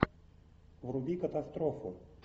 вруби катастрофу